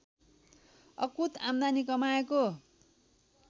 अकुत आम्दानी कमाएको